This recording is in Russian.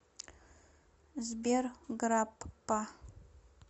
сбер граппа